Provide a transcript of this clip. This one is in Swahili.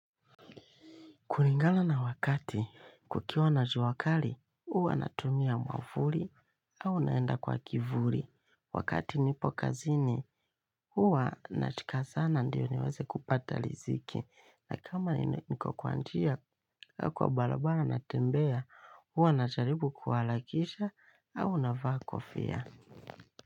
Kulingana na wakati kukiwa na jua kali, huwa natumia mwamvuli au naenda kwa kivuli. Wakati nipo kazini, huwa nachika sana ndio niweze kupata riziki. Na kama nime niko kwa njia au kwa barabara natembea, huwa najaribu kuharakisha au unavaa kofia.